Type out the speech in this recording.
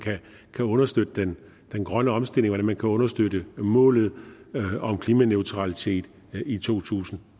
kan understøtte den grønne omstilling hvordan man kan understøtte målet om klimaneutralitet i to tusind